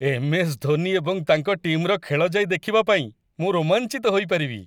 MS. Dhoni ଏବଂ ତାଙ୍କ ଟିମ୍‌ର ଖେଳ ଯାଇ ଦେଖିବା ପାଇଁ ମୁଁ ରୋମାଞ୍ଚିତ ହୋଇ ପାରିବି